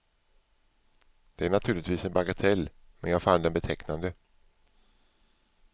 Det är naturligtvis en bagatell, men jag fann den betecknande.